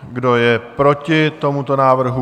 Kdo je proti tomuto návrhu?